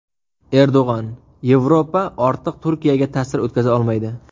Erdo‘g‘on: Yevropa ortiq Turkiyaga ta’sir o‘tkaza olmaydi.